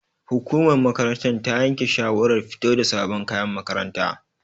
Hukumar makarantar ta yanke shawarar fito da sabon kayan makaranta.